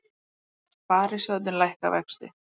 Sparisjóðirnir lækka vexti